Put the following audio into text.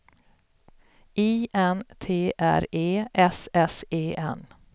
I N T R E S S E N